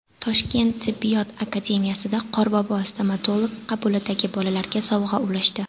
Toshkent tibbiyot akademiyasida Qorbobo stomatolog qabulidagi bolalarga sovg‘a ulashdi.